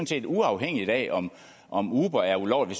set uafhængigt af om om uber er ulovlig